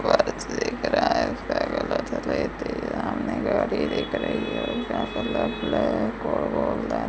सामने गाड़ी दिख रही है ।